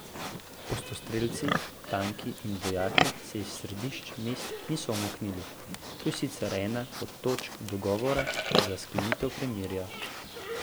Ostrostrelci, tanki in vojaki se iz središč mest niso umaknili, to je sicer ena od točk dogovora za sklenitev premirja.